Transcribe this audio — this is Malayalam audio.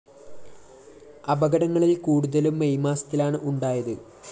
അപകടങ്ങളില്‍ കൂടുതലും മെയ്‌ മാസത്തിലാണ് ഉണ്ടായത്